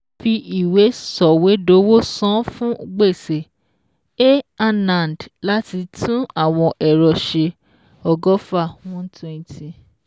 Fi ìwé sọ̀wédowó san fún gbèsè A Anand láti tún àwọn ẹ̀rọ ṣe ọgọ́fà one twenty